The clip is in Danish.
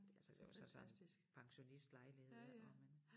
Det altså det var så sådan pensionistlejlighed ik og men